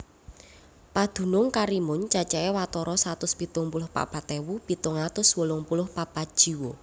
Padunung Karimun cacahé watara satus pitung puluh papat ewu pitung atus wolung puluh papat jiwa